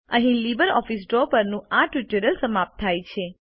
અહીં LibreOffice Draw પરનું આ ટ્યુટોરીયલ સમાપ્ત થાય છે